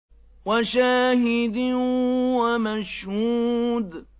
وَشَاهِدٍ وَمَشْهُودٍ